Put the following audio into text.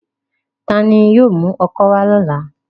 Tani yóò mu ọ́kọ wa lọla?